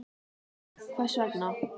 Björn: Hvers vegna?